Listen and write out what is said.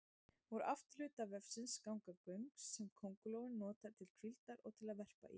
Úr afturhluta vefsins ganga göng sem köngulóin notar til hvíldar og til að verpa í.